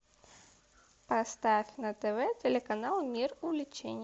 поставь на тв телеканал мир увлечений